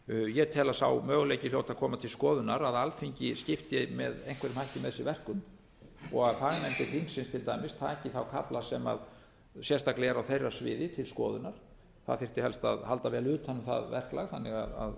ég tel að sá möguleiki hljóti að koma til skoðunar að alþingi skipti með einhverjum hætti með sér verkum og að fagnefndir þingsins til dæmis taki kafla sem sérstaklega eru á þeirra sviði til skoðunar það þyrfti helst að halda vel utan um það verklag þannig að